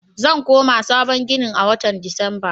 Zan koma sabon ginin a watan Disamba.